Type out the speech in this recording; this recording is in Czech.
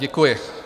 Děkuji.